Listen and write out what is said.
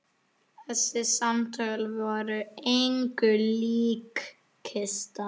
Þessi samtöl voru engu lík.